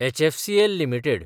HFCL limited